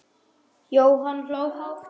Jóhann hló hátt.